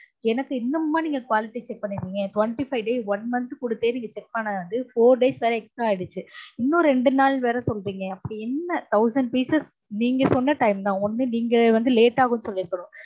எனக்கு இன்னமுமா நீங்க quality check பன்னிருக்கீங்க twenty five days one month குடுத்தே நீங்க check பண்ணாது four days வேர extra ஆகிடுச்சு இன்னும் ரெண்டு நாள் வெற சொல்ரீங்க அப்டி என்ன thousand pieces நீங்க சொன்ன time தா ஒன்னு நீங்க வந்து late ஆகும்னு சொல்லிருக்கனும்